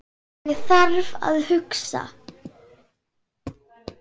Ég þarf að hugsa.